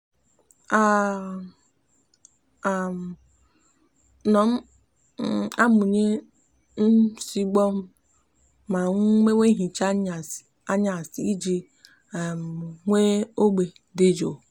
a um no m um amuye nsigbu mo ma mmewe nhicha anyasi iji um nwee ogbe di juu